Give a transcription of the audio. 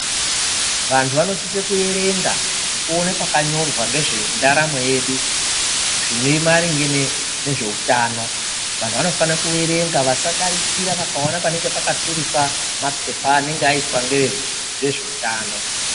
Vantu vanosisa kuyerenga nekuona pakanyora ngezvendaramo yedu zvine maringe nezveutano vantu vanofana kuyerenga vasadarikira vakaona panenge pakatirikwa mapepa anenge aiswe ngevezveutano.